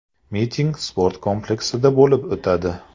Miting sport kompleksida bo‘lib o‘tadi.